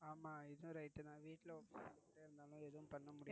ஆமா இதுவும் right தான் வீட்டில உக்காந்திட்டே இருந்தோம்னா ஏதும் பன்ன முடியாது.